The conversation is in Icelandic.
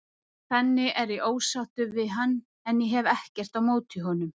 Þannig er ég ósáttur við hann en ég hef ekkert á móti honum.